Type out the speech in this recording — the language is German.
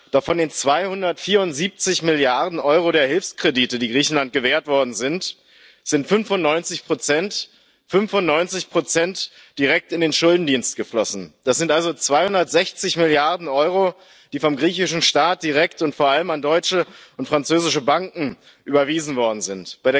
Doch von den 274 Milliarden Euro der Hilfskredite, die Griechenland gewährt worden sind, sind 95 direkt in den Schuldendienst geflossen das sind also 260 Milliarden Euro, die vom griechischen Staat direkt und vor allem an deutsche und französische Banken überwiesen worden sind.